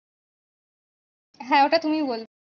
হ্যাঁ এটা তুমি বলো